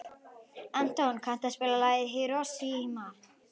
Anton, kanntu að spila lagið „Hiroshima“?